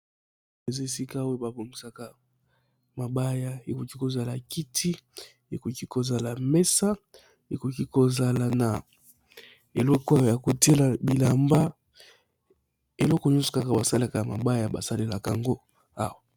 Eza esika oyo babomisaka mabaya ekoki kozala kiti, ekoki kozala mesa, ekoki kozala na eloko oyo ya kotiela bilamba eloko nyonso kaka basalaka ya mabaya basalelaka yango awa.